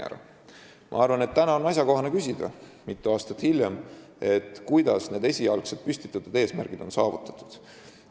Ma arvan, et täna, mitu aastat hiljem, on asjakohane küsida, kuidas on õnnestunud neid esialgseid püstitatud eesmärke saavutada.